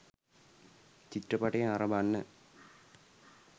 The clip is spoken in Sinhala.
චිත්‍රපටය නරඹන්න